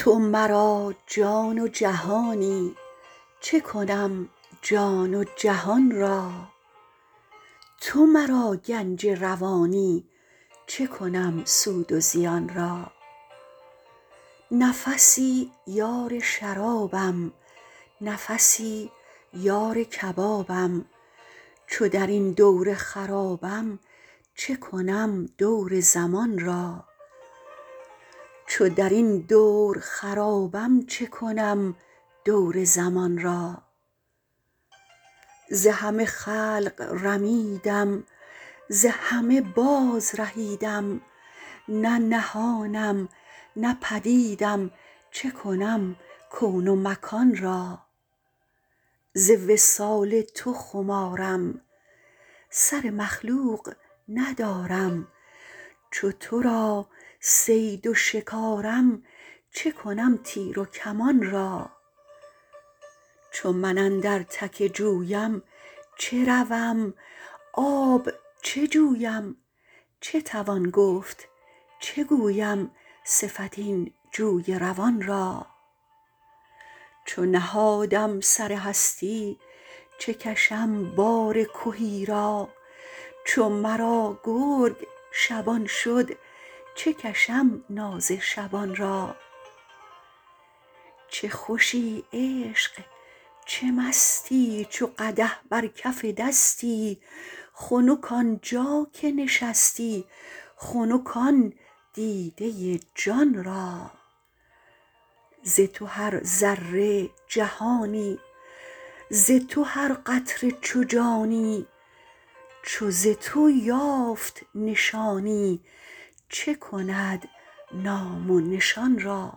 تو مرا جان و جهانی چه کنم جان و جهان را تو مرا گنج روانی چه کنم سود و زیان را نفسی یار شرابم نفسی یار کبابم چو در این دور خرابم چه کنم دور زمان را ز همه خلق رمیدم ز همه بازرهیدم نه نهانم نه پدیدم چه کنم کون و مکان را ز وصال تو خمارم سر مخلوق ندارم چو تو را صید و شکارم چه کنم تیر و کمان را چو من اندر تک جویم چه روم آب چه جویم چه توان گفت چه گویم صفت این جوی روان را چو نهادم سر هستی چه کشم بار کهی را چو مرا گرگ شبان شد چه کشم ناز شبان را چه خوشی عشق چه مستی چو قدح بر کف دستی خنک آن جا که نشستی خنک آن دیده جان را ز تو هر ذره جهانی ز تو هر قطره چو جانی چو ز تو یافت نشانی چه کند نام و نشان را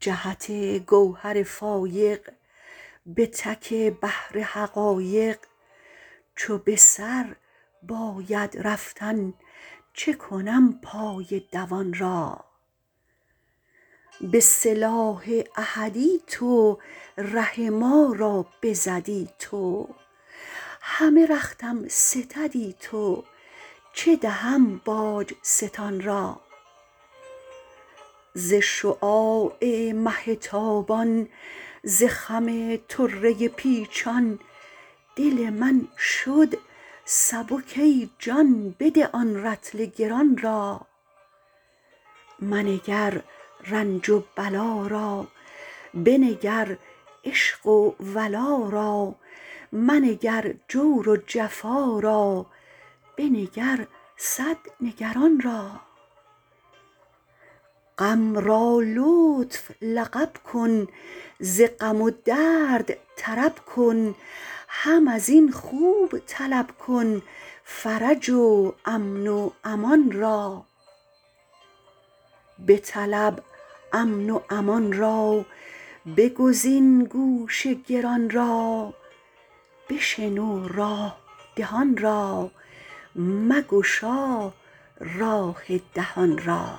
جهت گوهر فایق به تک بحر حقایق چو به سر باید رفتن چه کنم پای دوان را به سلاح احدی تو ره ما را بزدی تو همه رختم ستدی تو چه دهم باج ستان را ز شعاع مه تابان ز خم طره پیچان دل من شد سبک ای جان بده آن رطل گران را منگر رنج و بلا را بنگر عشق و ولا را منگر جور و جفا را بنگر صد نگران را غم را لطف لقب کن ز غم و درد طرب کن هم از این خوب طلب کن فرج و امن و امان را بطلب امن و امان را بگزین گوش گران را بشنو راه دهان را مگشا راه دهان را